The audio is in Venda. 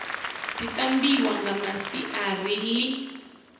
dzi tambiwa nga masiari ḽi